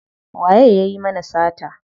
Waye yayi mana sata?